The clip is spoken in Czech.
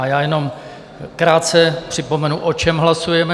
A já jenom krátce připomenu, o čem hlasujeme.